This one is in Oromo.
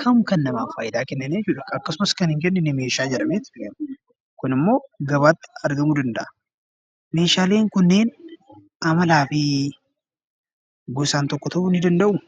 kam kan faayidaa namaa kennaniif akkasumas kan hin kennine meeshaa jedhameetu waamama. Kunimmoo gabaatti argamuu danda'a. Meeshaaleen kunneen amalaa fi gosaan tokko ta'uu ni danda'uu?